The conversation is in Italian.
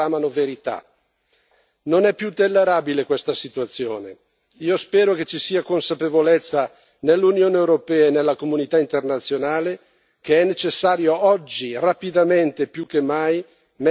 Io spero che ci sia consapevolezza nell'Unione europea e nella comunità internazionale che è necessario oggi, rapidamente più che mai, mettere in atto le azioni per garantire una transizione politica.